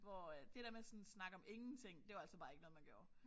Hvor at det der med at sådan sådan snakke om ingenting det var altså bare ikke noget man gjorde